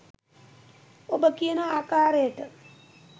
ඔබ කියන ආකාරයට